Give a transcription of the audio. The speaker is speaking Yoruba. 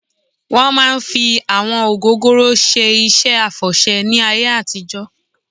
Wọ́n máa ń fi àwọn ògógóró ṣe iṣẹ́ àfọ̀ṣẹ́ ní ayé àtijọ́